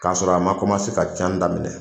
K'a sɔrɔ a ma ka canni daminɛ.